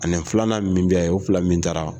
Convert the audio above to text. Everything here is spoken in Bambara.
A ni filanan min bɛ yen o fila min taara